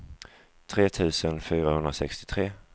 tre tusen fyrahundrasextiotre